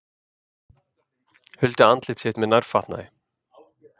Huldi andlit sitt með nærfatnaði